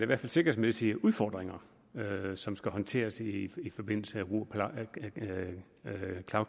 hvert fald sikkerhedsmæssige udfordringer som skal håndteres i i forbindelse med cloud